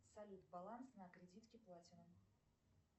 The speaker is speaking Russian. салют баланс на кредитке платинум